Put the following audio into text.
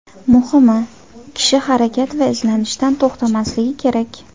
Muhimi, kishi harakat va izlanishdan to‘xtamasligi kerak.